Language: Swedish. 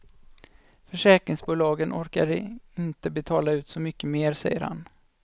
Försäkringsbolagen orkar inte betala ut så mycket mer, säger han.